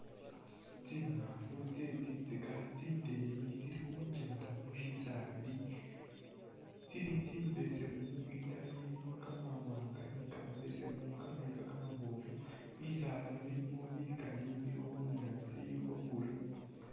Tsingaafu tsye tsintsika tsindeyi tsili khukenda musisaali tsili tsibesemu indala ilimo kamawaanga ni kamabesemu kamayiika kamaboofu bisaala bilimo bikali bilikho bwa green